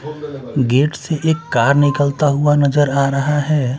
Gate से एक car निकलता हुआ नजर आ रहा हैं।